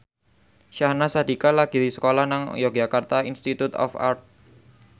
Syahnaz Sadiqah lagi sekolah nang Yogyakarta Institute of Art